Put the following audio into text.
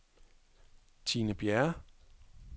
Tine Bjerre